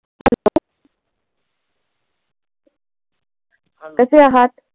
कसे आहात?